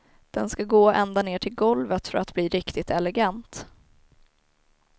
Den ska gå ända ner till golvet för att bli riktigt elegant.